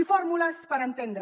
i fórmules per entendre